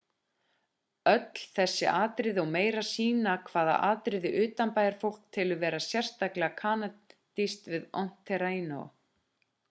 öll þessi atriði og meira sýna hvaða atriði utanbæjarfólk telur vera sérstaklega kanadísk við ontario